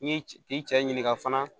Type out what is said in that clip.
N'i k'i cɛ ɲininka fana